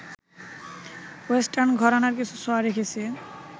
western ঘরানার কিছু ছোঁয়া রেখেছি